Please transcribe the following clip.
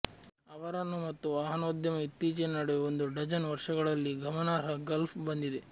ಅವರನ್ನು ಮತ್ತು ವಾಹನೋದ್ಯಮ ಇತ್ತೀಚಿನ ನಡುವೆ ಒಂದು ಡಜನ್ ವರ್ಷಗಳಲ್ಲಿ ಗಮನಾರ್ಹ ಗಲ್ಫ್ ಬಂದಿದೆ